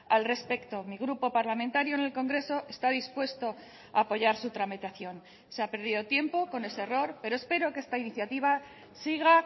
al respecto mi grupo parlamentario en el congreso está dispuesto a apoyar su tramitación se ha perdido tiempo con ese error pero espero que esta iniciativa siga